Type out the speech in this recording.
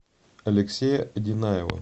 алексея одинаева